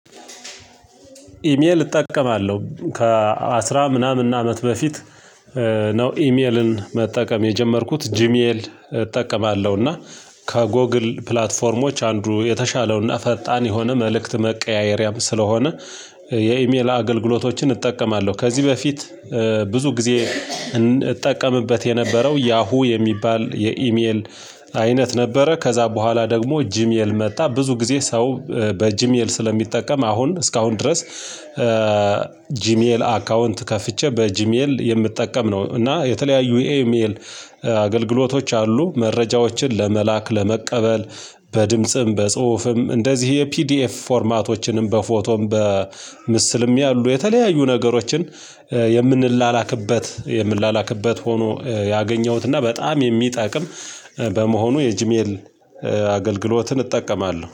ኢሜል እጠቀማለሁ ከአስራ ምናምን አመት በፊት። ነው ኢሜልን መጠቀም የጀመርኩት ጂሜል እጠቀማለሁ እና ከጎግል ፕላትፎርሞች አንዱ የተሻለውና ፈጣን የሆነ መልእክት መቀያየሪያም ስለሆነ የኢሜል አገልግሎቶችን እጠቀማለሁ። ከዚህ በፊት ብዙ ጊዜ እጠቀምበት የነበረው ያሁ የሚባል የኢሜል አይነት ነበረ። ከዛ በኋላ ደግሞ ጂሜል መጣ ብዙ ጊዜ ሰው በጂሜል ስለሚጠቀም አሁን እስካሁን ድረስ ጂሜል አካውንት ከፍቼ በጂሜል የምጠቀም ነው። እና የተለያዩ የኢሜል አገልግሎቶች አሉ። መረጃዎችን ለመላክ ለመቀበል በድምጽም በጽሁፍም እንደዚህ ፒዲኤፍ ፎርማቶችንም በፎቶም በምስልም ያሉ የተለያዩ ነገሮችን የምንላላክበት የምላላክበት ሆኖ ያገኘሁት እና በጣም የሚጠቅም። በመሆኑ የጂሜል አገልግሎትን እጠቀማለሁ